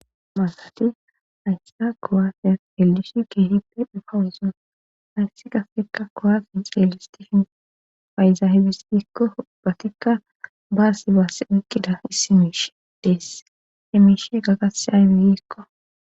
maasati haysi kowaafiya eldishi keehippe dhufawuson hayssi qafekka kowaafi xeyelistishin payzahibis dikko hubbatikka baasi baass uykkida issi miishe deess he miishe gagasiyabi gikko.